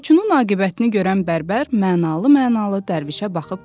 Qoçunun aqibətini görən bərbər mənalı-mənalı Dərvişə baxıb dedi: